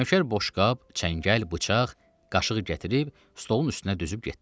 Nökər boşqab, çəngəl, bıçaq, qaşığı gətirib stolun üstünə düzüb getdi.